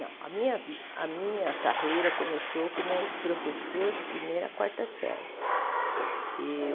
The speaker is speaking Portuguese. Não, a minha carreira começou como professor de primeira a quarta série.